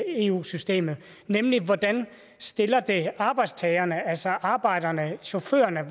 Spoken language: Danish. eu systemet nemlig hvordan det stiller arbejdstagerne altså arbejderne chaufførerne